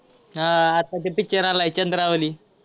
हा आता तो picture आलाय चंद्रावली.